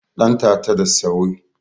dantata da sawoe